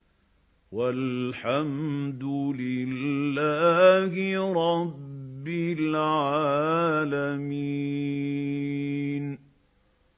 وَالْحَمْدُ لِلَّهِ رَبِّ الْعَالَمِينَ